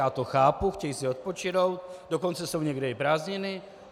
Já to chápu, chtějí si odpočinout, dokonce jsou někde i prázdniny.